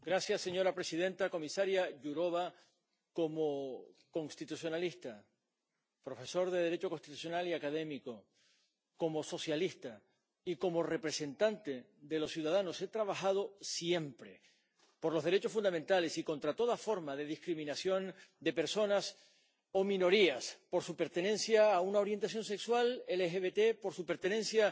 Señora presidenta, señora comisaria Jourová, como constitucionalista, profesor de Derecho Constitucional y académico, como socialista y como representante de los ciudadanos, he trabajado siempre por los derechos fundamentales y contra toda forma de discriminación de personas o minorías por su pertenencia a una orientación sexual —LGBT—, por su pertenencia